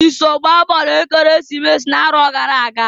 I so gbaa bọọlụ Ekeresimesi n'arọ gara aga?